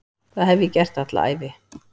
Það hef ég gert alla ævi.